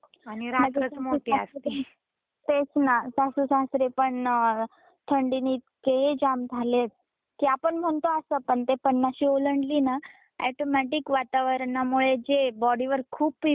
तेच ना सासू सासरे पण थंडीने इतके जाम झालेत की आपण म्हणतो असा पण ती पन्नाशी ओलांडली ना अॅटोमॅटीक वातावरणामुळे जे बॉडीवर खूप इफेक्ट होतात आपण म्हणतो.